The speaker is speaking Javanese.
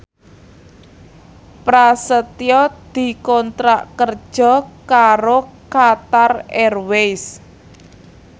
Prasetyo dikontrak kerja karo Qatar Airways